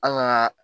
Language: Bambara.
An ka